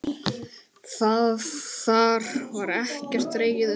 Þar var ekkert dregið undan.